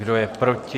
Kdo je proti?